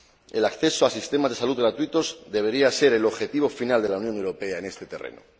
El acceso a sistemas de salud gratuitos debería ser el objetivo final de la Unión Europea en este terreno.